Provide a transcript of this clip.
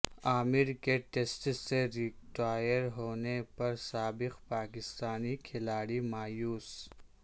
عامر کے ٹیسٹ سے ریٹائر ہونے پر سابق پاکستانی کھلاڑی مایوس